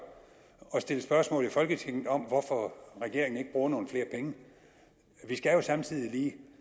og stille spørgsmål i folketinget om hvorfor regeringen ikke bruger nogle flere penge vi skal jo samtidig lige